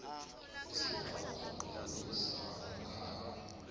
isibawo sokutlolisa umkhandlu